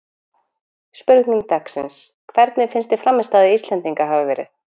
Spurning dagsins: Hvernig finnst þér frammistaða Íslendinganna hafa verið?